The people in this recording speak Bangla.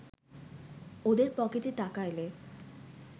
ওদের পকেটে টাকা এলে